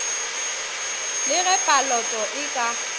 le ge paloto e ka